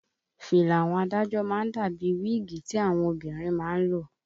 Fìlà àwọn adájọ́ má ń dà bíi wíìgì tí àwọn obìnrin má ń lò